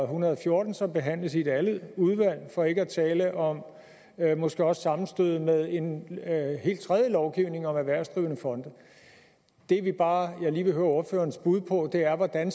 hundrede og fjorten som behandles i et andet udvalg for ikke at tale om at der måske også sammenstød med en helt tredje lovgivning om erhvervsdrivende fonde det jeg bare lige vil høre ordførerens bud på er hvordan